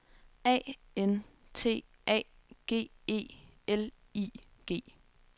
A N T A G E L I G